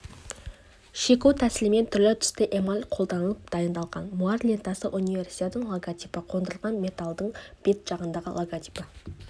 шеку тәсілімен түрлі-түсті эмаль қолданып дайындалған муар лентасына универсиаданың логотипі қондырылған медальдың бет жағында логотипі